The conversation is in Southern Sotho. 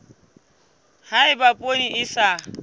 ha eba poone e sa